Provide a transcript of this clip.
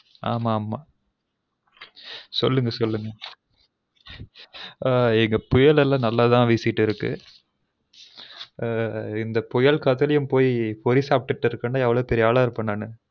ஆமா ஆமா சொல்லுங்க சொல்லுங்க புயல் எல்லம் நல்லாதான் வீசிட்டு இருக்கு. இந்த புயல் காதுலெயும் பொய் பொரி சப்டு இருகேன்னா எவ்லொ பெரிய ஆல இருபேன் நானு